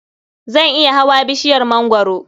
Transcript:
Zan iya hawa bishiyar mangwaro.